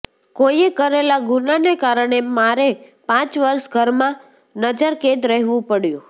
કોઈએ કરેલા ગુનાને કારણે મારે પાંચ વર્ષ ઘરમાં નજરકેદ રહેવું પડયું